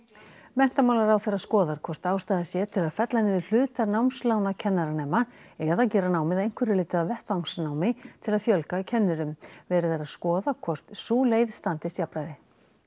menntamálaráðherra skoðar hvort ástæða sé til að fella niður hluta námslána kennaranema eða gera námið að einhverju leyti að vettvangsnámi til að fjölga kennurum verið er að skoða hvort sú leið standist jafnræði